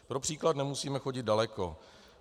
Pro příklad nemusíme chodit daleko.